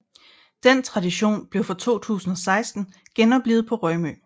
Den tradition blev fra 2016 genoplivet på Rømø